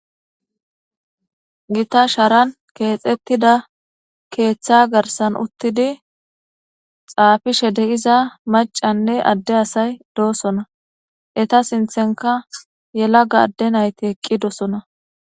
Gita sharan keexettida keeththa garsan uttidi xaafishe deiza macanne adde asay doosona eta sinthenka yela ga adde nayti eqqidosona.